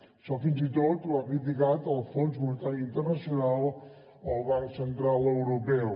això fins i tot ho ha criticat el fons monetari internacional o el banc central europeu